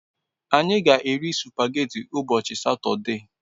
Anyi g'eri supageti ubochi sotode